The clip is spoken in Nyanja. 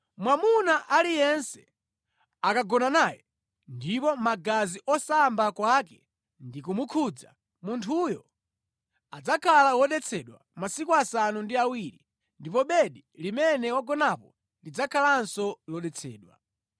“ ‘Mwamuna aliyense akagona naye ndipo magazi osamba kwake ndi kumukhudza, munthuyo adzakhala wodetsedwa masiku asanu ndi awiri, ndipo bedi limene wagonapo lidzakhalanso lodetsedwa.